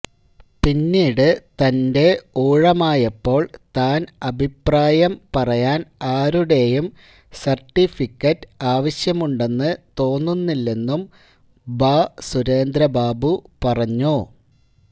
പിന്നീട് തന്റെ ഊഴമായപ്പോൾ താൻ അഭിപ്രായം പറയാൻ ആരുടെയും സർട്ടിഫിക്കര്റ് ആവശ്യമുണ്ടെന്ന് തോന്നുന്നില്ലെന്നും ഭാസുരേന്ദ്ര ബാബു പറഞ്ഞു